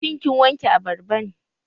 Shin kin wanke abarban?